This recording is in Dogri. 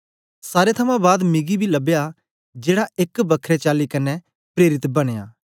सारें थमां बाद मिगी बी लबया जेड़ा एक बखरे चाली कन्ने प्रेरित बनयां